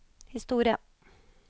historie